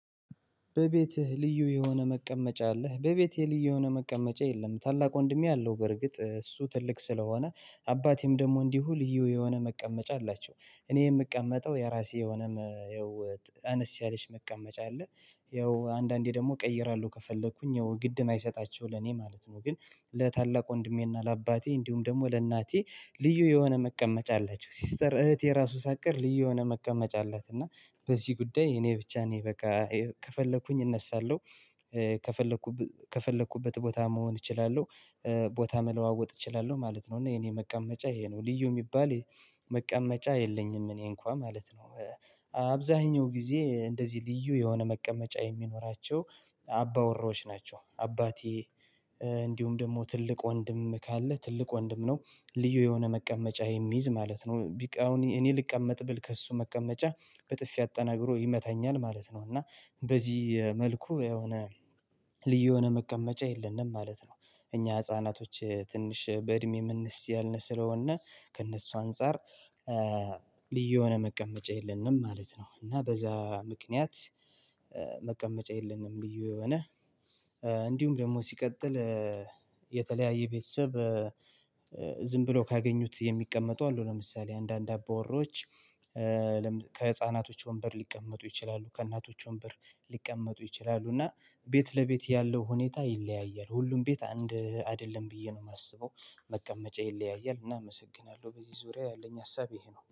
"በቤትህ ልዩ የሆነ መቀመጫ አለህ?" በቤቴ ልዩ የሆነ መቀመጫ የለም፤ ታላቅ ወንድሜ አለው፣ በእርግጥ እሱ ትልቅ ስለሆነ፤ አባቴም ደግሞ እንዲሁ ልዩ የሆነ መቀመጫ አላቸው፤ እኔ የምቀመጠው የራሴ የሆነ፣ ያው አነስ ያለች መቀመጫ አለች። ያው አንዳንዴ ደግሞ እቀይራለሁ ከፈለግሁኝ፤ ያው ግድ የማይሰጣቸው ለእኔ ማለት ነው፤ ግን ለታላቅ ወንድሜና ለአባቴ፣ እንዲሁም ደግሞ ለእናቴ ልዩ የሆነ መቀመጫ አላቸው፤ ሲስተር፣ እህቴ የራሷ ሳቀር ልዩ የሆነ መቀመጫ አላት፤ እና በዚህ ጉዳይ እኔ ብቻ እኔ በቃ ከፈለግሁኝ እነሳለሁ። ከፈለግሁ ከፈለግሁበት ቦታ መሆን እችላለሁ። ቦታ መለዋወጥ እችላለሁ ማለት ነው፤ እና የእኔ መቀመጫ ይህ ነው ልዩ የሚባል መቀመጫ የለኝም እኔ እንኳን ማለት ነው። አብዛኛውን ጊዜ እንደዚህ ልዩ የሆነ መቀመጫ የሚኖራቸው አባወራዎች ናቸው፤ አባቴ እንዲሁም ደግሞ ትልቅ ወንድም ካለ ትልቅ ወንድም ነው ልዩ የሆነ መቀመጫ የሚይዝ ማለት ነው፤ አሁን እኔ ልቀመጥ ብል ከእሱ መቀመጫ በጥፊ አጠናግሮ ይመታኛል ማለት ነው፤ እና በዚህ መልኩ የሆነ ልዩ የሆነ መቀመጫ የለንም ማለት ነው፤ እኛ ሕፃናቶች ትንሽ በእድሜ የምናንስ ነን ስለሆነ ከእነሱ አንፃር ልዩ የሆነ መቀመጫ የለንም ማለት ነው፤ እና በዚያ ምክንያት መቀመጫ የለንም ልዩ የሆነ፤ እንዲሁም ደግሞ ሲቀጥል የተለያየ ቤተሰብ ዝም ብለው ካገኙት የሚቀመጡ አሉ፤ ለምሳሌ አንዳንድ አባወራዎች ከሕፃናቶች ወንበር ሊቀመጡ ይችላሉ፤ ከእናቶች ወንበር ሊቀመጡ ይችላሉ፤ እና ቤት ለቤት ያለው ሁኔታ ይለያያል፤ ሁሉም ቤት አንድ አይደለም ብዬ ነው የማስበው፤ መቀመጫ ይለያያል፤ እና አመሰግናለሁ፤ በዚህ ዙሪያ ያለኝ ሀሳብ ይህ ነው።